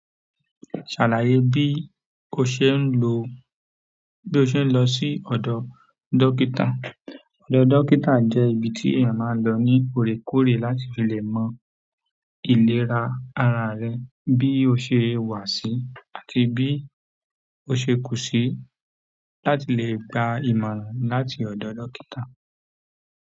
Ṣàlàyé bí o ṣe ń lo, bí o ṣe ń lọ sí ọ̀dọ dókítà. Ọ̀dọ̀ dókítà jẹ́ ibi tí èèyàn máa ń lọ ní òrèkóòrè láti lè mọ ìlera ara rẹ̀ bí ó ṣe wà sí àti bí ó ṣe kù sí láti lè gba ìmọ̀ràn láti ọ̀dọ̀ dókítà.